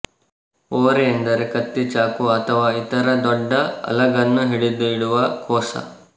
ಒರೆ ಎಂದರೆ ಕತ್ತಿ ಚಾಕೂ ಅಥವಾ ಇತರ ದೊಡ್ಡ ಅಲಗನ್ನು ಹಿಡಿದಿಡುವ ಕೋಶ